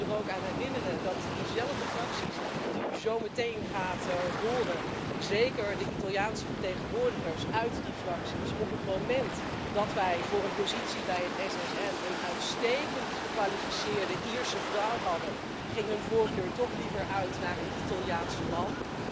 Ik wil u er ook aan herinneren dat diezelfde fracties die u zo meteen gaat horen, zeker de Italiaanse vertegenwoordigers uit die fracties, op het moment dat wij voor een positie bij het SSM een uitstekend gekwalificeerde Ierse vrouw hadden, hun voorkeur toch liever lieten uitgaan naar een Italiaanse man.